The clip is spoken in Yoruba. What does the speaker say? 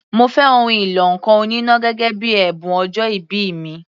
Mo fẹ́ ohun ìlọ ǹkan oníná gẹ́gẹ́ bíi ẹ̀bùn ọjọ́ìbí mi.